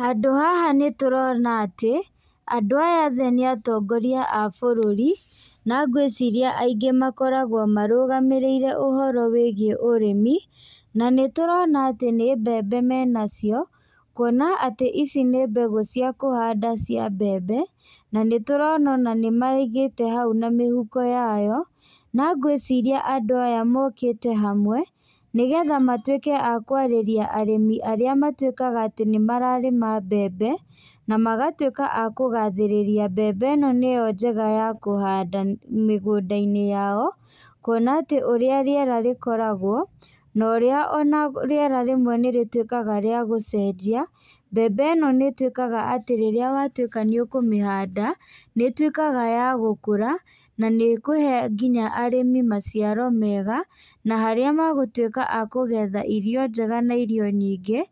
Handũ haha nĩtũrona atĩ, andũ aya othe nĩ atongoria a bũrũri, na ngwĩciria aingĩ makoragwo marũgamĩrĩire ũhoro wĩgiĩ ũrĩmi, na nĩtũrona atĩ nĩ mbembe menacio, kuona atĩ ici nĩ mbegũ cia kũhanda cia mbembe, na nĩtũrona ona nĩmaigĩte hau na mĩhuko yayo, na ngwĩciria andũ aya mokĩte hamwe, nĩgetha matuĩke a kwarĩria arĩmi arĩa matuĩkaga atĩ nĩmararĩma mbembe, na magatuĩka a kũgathĩrĩria mbembe ĩno nĩyo njega ya kũhanda mĩgũnda-inĩ yao, kuona atĩ ũrĩa rĩera rĩkoragwo, na ũrĩa ona rĩera rĩmwe nĩrĩtuĩkaga rĩa gũcenjia, mbembe ĩno nĩtuĩkaga atĩ rĩrĩa watuĩka nĩ ũkũmĩhanda, nĩtuĩkaga ya gũkũra, na nĩkũhe nginya arĩmi maciaro mega, na harĩa magũtuĩka a kũgetha irio njega na irio nyingĩ,